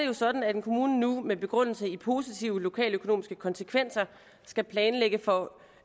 jo sådan at en kommune nu med begrundelse i positive lokaløkonomiske konsekvenser skal planlægge for